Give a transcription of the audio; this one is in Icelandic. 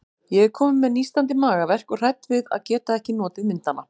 Ég er komin með nístandi magaverk og hrædd við að geta ekki notið myndanna.